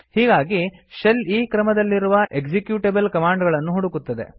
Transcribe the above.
ಹೀಗಾಗಿ ಶೆಲ್ ಈ ಕ್ರಮದಲ್ಲಿರುವ ಎಕ್ಸಿಕ್ಯೂಟೆಬಲ್ ಕಮಾಂಡ್ ಗಳನ್ನು ಹುಡುಕುತ್ತದೆ